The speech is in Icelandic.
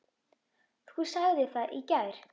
Þú sagðir það í gær.